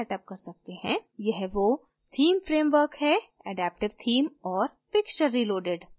वह वो theme framework हैadaptive theme और pixture reloaded